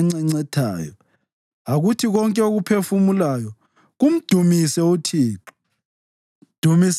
mdumiseni ngegedla langokusina, mdumiseni ngeziginci langomqangala,